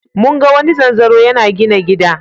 Mun ga wani zanzaro yana gina gida.